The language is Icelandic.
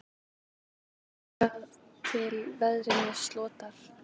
Þangað til að veðrinu slotar.